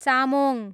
Chamong